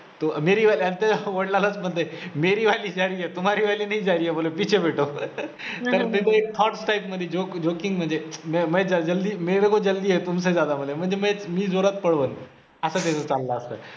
म्हणते मेरी वाली जा रही हे, तूम्हारी वाली नही जा रही हे बोलो पिछे बैठो एक thought type मधी joke joking म्हणजे मे मे जल्दी मेरेको जल्दी हे तुमसे ज्यादा बोले मी जोरात पळवेन. असा scene चालला असतो.